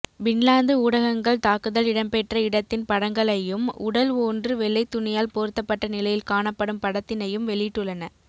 Finland ஊடகங்கள் தாக்குதல் இடம்பெற்ற இடத்தின் படங்களையும் உடல் ஓன்று வெள்ளை துணியால் போர்த்தப்பட்ட நிலையில் காணப்படும் படத்தினையும் வெளியிட்டுள்ளன